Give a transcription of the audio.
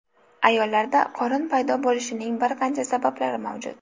Ayollarda qorin paydo bo‘lishining bir qancha sabablari mavjud.